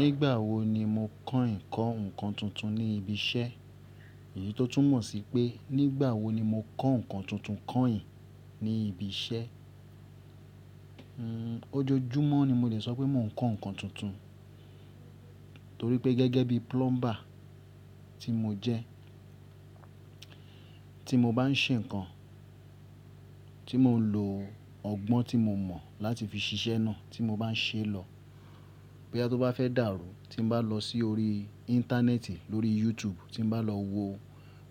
Nígbà wo ni mo kọ̀ín kọ́ ǹkan tuntun ní ibi iṣẹ́? Èyí tó tún mọ̀ sí pé, nígbà wo ni mo kọ́ ǹkan tuntun kọ̀ín ní ibi iṣẹ́? Ojojúmọ́ ni mo lè sọ wípé mo ń kọ́ ǹkan tuntun torí gẹ́gẹ́ bí plumber tí mo jẹ́ tí mo báa ń ṣe ǹkan tí mo lo ọgbọ́n tí mo mọ̀ láti fi ṣiṣẹ́ ná tí mo báa ń ṣe lọ. Bí a tó bá fẹ́ dàrú, tí mo bá lọ sí orí íńtánẹ́ẹ̀tì lórí YouTube, tí mo bá lọ wo